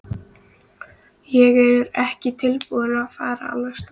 Ég er ekki tilbúinn að fara alveg strax.